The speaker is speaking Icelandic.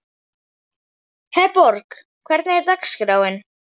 Herborg, hvernig er dagskráin?